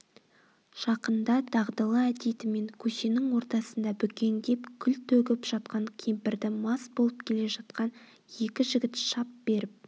жақында дағдылы әдетімен көшенің ортасында бүкеңдеп күл төгіп жатқан кемпірді мас болып келе жатқан екі жігіт шап беріп